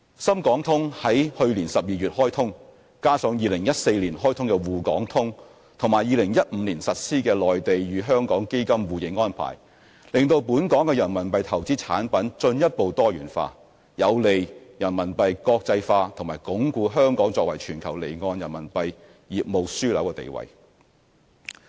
深港通於去年12月開通，加上2014年開通的滬港通和2015年實施的內地與香港基金互認安排，令本港的人民幣投資產品進一步多元化，有利人民幣國際化及鞏固香港作為全球離岸人民幣業務樞紐的地位。